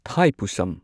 ꯊꯥꯢꯄꯨꯁꯝ